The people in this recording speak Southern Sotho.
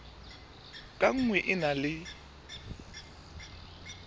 ka nngwe e na le